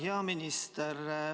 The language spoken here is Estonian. Hea minister!